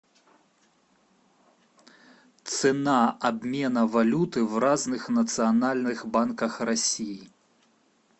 цена обмена валюты в разных национальных банках россии